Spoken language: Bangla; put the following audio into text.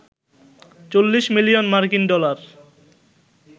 ৪০ মিলিয়ন মার্কিন ডলার